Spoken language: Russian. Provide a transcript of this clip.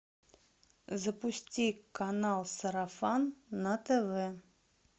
запусти канал сарафан на тв